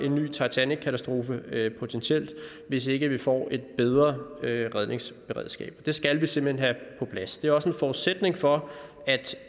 en ny titanickatastrofe hvis ikke vi får et bedre redningsberedskab det skal vi simpelt hen på plads det er også en forudsætning for at